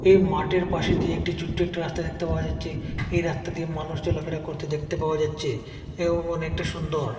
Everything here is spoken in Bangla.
এই মাটের পাশে দিয়ে একটি চোটটো একটি রাস্তা দেখতে পাওয়া যাচ্ছে এই রাস্তা দিয়ে মানুষ চলাফেরা করতে দেখতে পাওয়া যাচ্চে এবং অনেকটা সুন্দর।